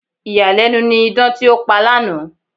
Ìyàlẹ́nu ni idán tí ó pa lánàá.